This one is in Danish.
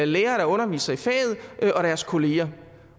lærere der underviser i faget og deres kolleger